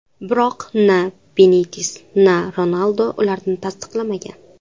Biroq na Benites, na Ronaldu ularni tasdiqlamagan.